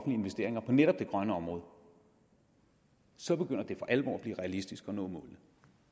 investeringer på netop det grønne område så begynder det for alvor at blive realistisk at nå målene